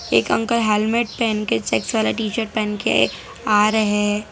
एक uncle helmet पहन के चेक्स वाला टी शर्ट पहन के आ रहे हैं।